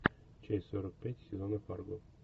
часть сорок пять сезона фарго